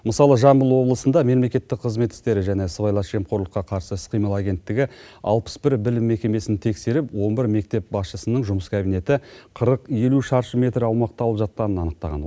мысалы жамбыл облысында мемлекеттік қызмет істері және сыбайлас жемқорлыққа қарсы іс қимыл агенттігі алпыс бір білім мекемесін тексеріп он бір мектеп басшысының жұмыс кабинеті қырық елу шаршы метр аумақты алып жатқанын анықтаған